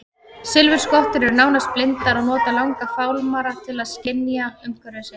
Silfurskottur eru nánast blindar og nota langa fálmara til að skynja umhverfi sitt.